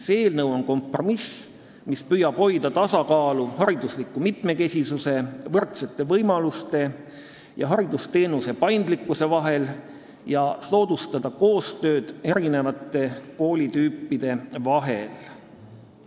See eelnõu on kompromiss, mis püüab hoida tasakaalu haridusliku mitmekesisuse, võrdsete võimaluste ja haridusteenuse paindlikkuse vahel ning soodustada eri koolitüüpide koostööd.